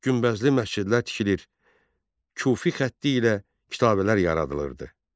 Günbəzli məscidlər tikilir, Kufi xətti ilə kitabələr yaradılırdı.